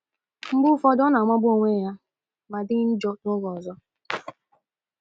Mgbe ụfọdụ ọ na - amagbu onwe ya ma dị njọ n’oge ọzọ. ”